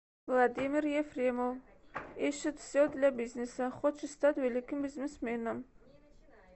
владимир ефремов ищет все для бизнеса хочет стать великим бизнесменом